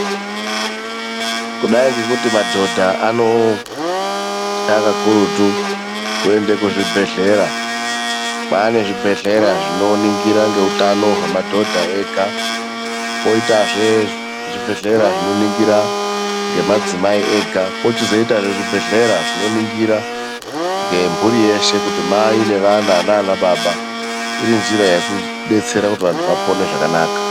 Kudai ngekuti madhodha anotwa kakurutu kuenda kuzvibhedhlera kwanewo zvibhedhlera zvinoningira ngeutano hwemadhodha ega, kweitahe zvibhedhlera zvinoningira madzimai ega kozoitawo zvibhedhlera zvino ningira ngemburi sheshe kuti mai nevana nanababa irinjira yekudetsera kuti vantu apore ngenjira yakanaka .